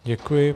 Děkuji.